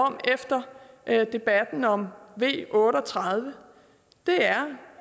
om efter debatten om v otte og tredive er